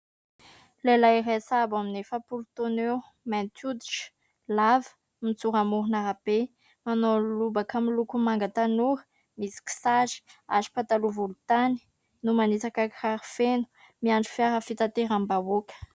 Lehilahy iray sahabo amin'ny efapolo taona eo, mainty hoditra, lava, mijoro amoron'arabe, manao lobaka miloko manga tanora misy kisary aro pataloha volontany no manitsaka kiraro feno miandry fiara fitateram-bahoaka.